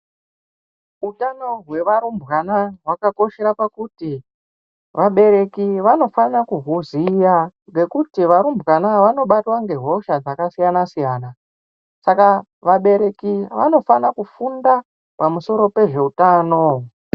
Utano hwevarumbwana hwakakoshere pakuti vabereki vanofana kuhuziya ngekuti varumvanobatwa ngehosha dzakasiyana siyana saka vabereki vanofana kunda pamusoro pezveutano.